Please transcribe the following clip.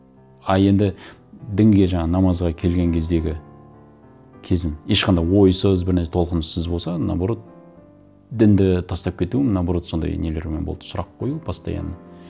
а енді дінге жаңағы намазға келген кездегі кезім ешқандай ойсыз толқыныссыз болса наоборот дінді тастап кетуім наоборот сондай нелермен болды сұрақ қою постоянно